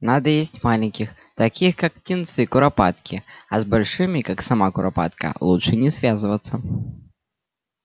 надо есть маленьких таких как птенцы куропатки а с большими как сама куропатка лучше не связываться